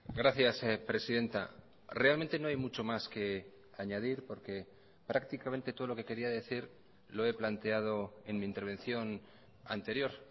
gracias presidenta realmente no hay mucho más que añadir porque prácticamente todo lo que quería decir lo he planteado en mi intervención anterior